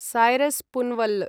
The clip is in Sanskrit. सायरस् पूनवल्ल